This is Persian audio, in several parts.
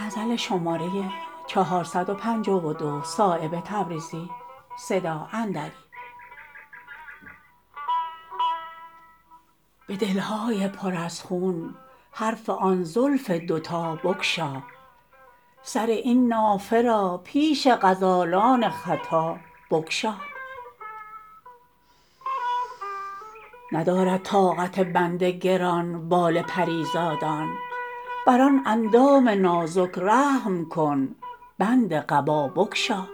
به دل های پر از خون حرف آن زلف دو تا بگشا سر این نافه را پیش غزالان ختا بگشا ندارد طاقت بند گران بال پریزادان بر آن اندام نازک رحم کن بند قبا بگشا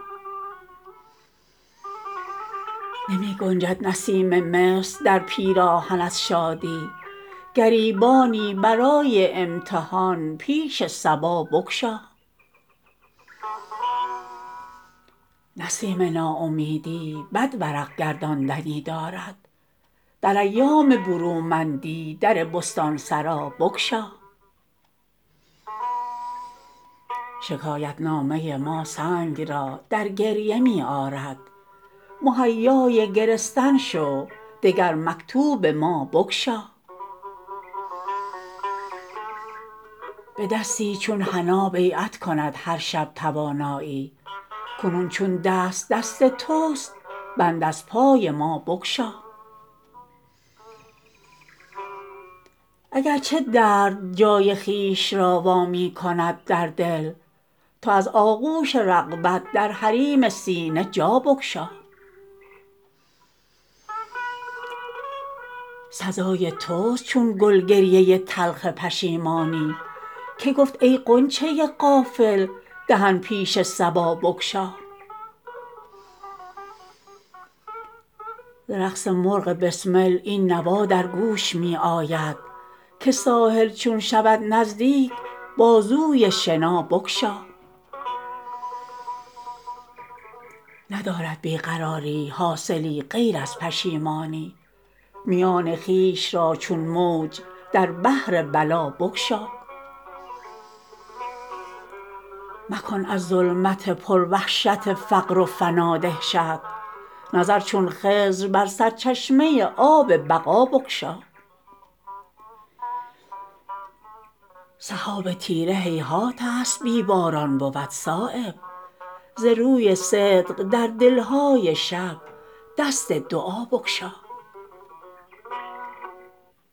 نمی گنجد نسیم مصر در پیراهن از شادی گریبانی برای امتحان پیش صبا بگشا نسیم ناامیدی بد ورق گرداندنی دارد در ایام برومندی در بستانسرا بگشا شکایت نامه ما سنگ را در گریه می آرد مهیای گرستن شو دگر مکتوب ما بگشا به دستی چون حنا بیعت کند هر شب توانایی کنون چون دست دست توست بند از پای ما بگشا اگر چه درد جای خویش را وا می کند در دل تو از آغوش رغبت در حریم سینه جا بگشا سزای توست چون گل گریه تلخ پشیمانی که گفت ای غنچه غافل دهن پیش صبا بگشا ز رقص مرغ بسمل این نوا در گوش می آید که ساحل چون شود نزدیک بازوی شنابگشا ندارد بی قراری حاصلی غیر از پشیمانی میان خویش را چون موج در بحر بلا بگشا مکن از ظلمت پر وحشت فقر و فنا دهشت نظر چون خضر بر سرچشمه آب بقا بگشا سحاب تیره هیهات است بی باران بود صایب ز روی صدق در دلهای شب دست دعا بگشا